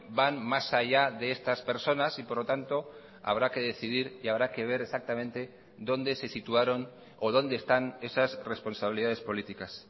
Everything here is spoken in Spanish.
van más allá de estas personas y por lo tanto habrá que decidir y habrá que ver exactamente dónde se situaron o dónde están esas responsabilidades políticas